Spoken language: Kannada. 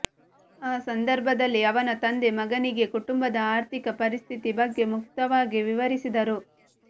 ಆ ಸಂದರ್ಭದಲ್ಲಿ ಅವನ ತಂದೆ ಮಗನಿಗೆ ಕುಟುಂಬದ ಆರ್ಥಿಕ ಪರಿಸ್ಥಿತಿ ಬಗ್ಗೆ ಮುಕ್ತವಾಗಿ ವಿವರಿಸಿದರು